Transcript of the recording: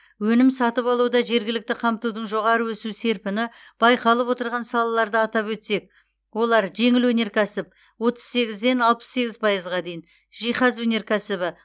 өнім сатып алуда жергілікті қамтудың жоғары өсу серпіні байқалып отырған салаларды атап өтсек олар жеңіл өнеркәсіп отыз сегізден алпыс сегіз пайызға дейін жиһаз өнеркәсібі